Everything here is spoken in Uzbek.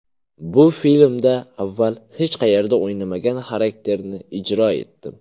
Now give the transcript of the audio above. Bu filmda avval hech qayerda o‘ynamagan xarakterni ijro etdim.